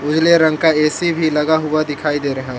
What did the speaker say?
उजले रंग का ए_सी भी लगा हुआ दिखाई दे रहा--